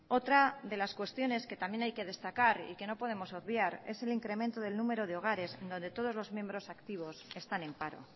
otra de las cuestiones que también hay que destacar y que no podemos obviar es el incremento del número de hogares en donde todos los miembros activos están en paro